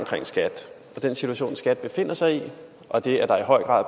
skat og den situation skat befinder sig i og det at der i høj grad